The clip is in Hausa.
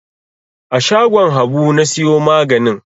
A shagon Habu na siyo maganin.